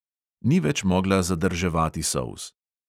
Ni več mogla zadrževati solz.